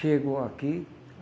Chegou aqui.